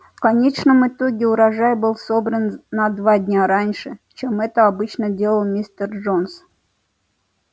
в конечном итоге урожай был собран на два дня раньше чем это обычно делал мистер джонс